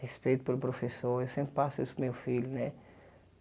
Respeito pelo professor, eu sempre passo isso para o meu filho, né?